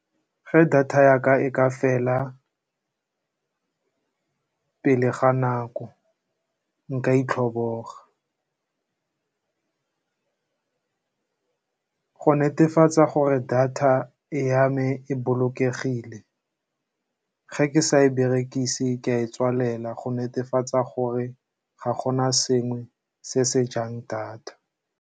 Fa data data ya ka e ka fela pele ga nako, nka itlhoboga. Go netefatsa gore data ya me e bolokegile, fa ke sa e berekise ke ka e tswalela go netefatsa gore ga gona sengwe se se jang data.